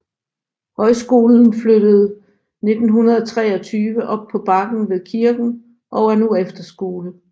Højskolen flyttede 1923 op på bakken ved kirken og er nu efterskole